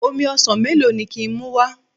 Omi ọsàn melo ni ki n muwa?